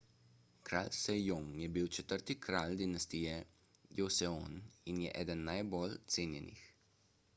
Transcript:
kralj sejong je bil četrti kralj dinastije joseon in je eden najbolj cenjenih